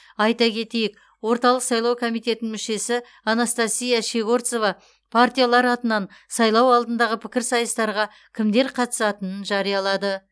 айта кетейік орталық сайлау комитетінің мүшесі анастасия щегорцова партиялар атынан сайлау алдындағы пікірсайыстарға кімдер қатысатынынын жариялады